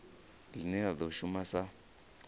line la do shuma sa